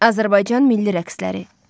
Azərbaycan milli rəqsləri.